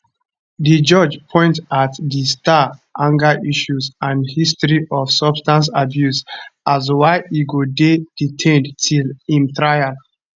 di judge point at di star anger issues and history of substance abuse as why e go dey detained till im trial